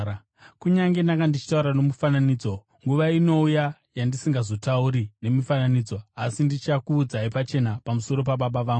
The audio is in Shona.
“Kunyange ndanga ndichitaura nomufananidzo, nguva inouya yandisingazotauri nemifananidzo, asi ndichakuudzai pachena pamusoro paBaba vangu.